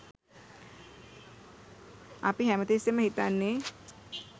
අපි හැමතිස්සෙම හිතන්නේ